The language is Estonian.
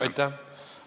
Aitäh!